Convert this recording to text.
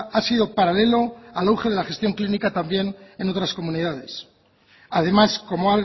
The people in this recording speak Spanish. ha sido paralelo al auge de la gestión clínica también en otras comunidades además como